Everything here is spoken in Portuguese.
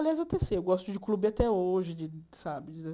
Aliás, eu teci, eu gosto de clube até hoje de, sabe?